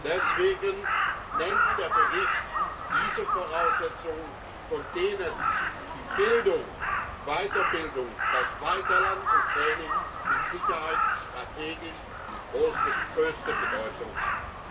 Deswegen benennt der Bericht diese Voraussetzungen, von denen die Bildung die Weiterbildung, das Weiterlernen und Training mit Sicherheit strategisch die größte Bedeutung hat.